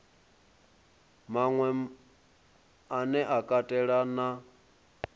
maṅwe ane a katela na